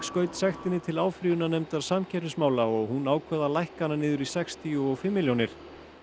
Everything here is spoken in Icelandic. skaut sektinni til áfrýjunarnefndar samkeppnismála og hún ákvað að lækka hana niður í sextíu og fimm milljónir